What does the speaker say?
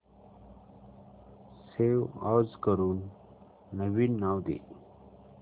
save as करून नवीन नाव दे